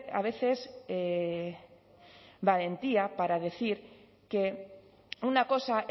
a veces valentía para decir que una cosa